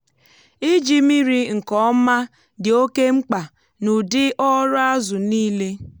iji mmiri nke ọma dị oke mkpa n’ụdị ọrụ azụ niile.